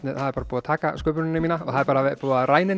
það er búið að taka sköpunina mína og það er búið að ræna